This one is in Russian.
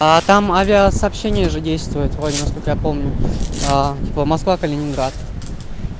а там авиасообщение же действует вроде насколько я помню а типа москва-калининград